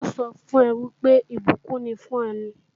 Ṣé ó sọ fún ọ wípé ìbùkún ni fún ọ ni?